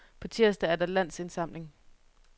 På tirsdag er der landsindsamling.